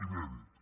inèdit